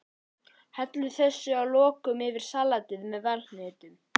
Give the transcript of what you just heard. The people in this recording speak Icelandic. Hellið þessu að lokum öllu yfir salatið með valhnetunum.